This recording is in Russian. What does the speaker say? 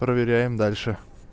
проверяем дальше